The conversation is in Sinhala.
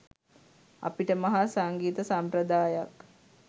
අපිට මහා සංගීත සම්ප්‍රදායක්